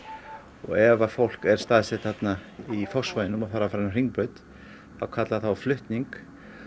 og ef að fólk er staðsett í Fossvoginum og þarf að fara niður á Hringbraut þá kallar það á flutning